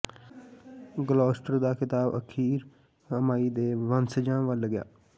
Gloucester ਦਾ ਖਿਤਾਬ ਅਖੀਰ ਅਮਾਈ ਦੇ ਵੰਸ਼ਜਾਂ ਵੱਲ ਗਿਆ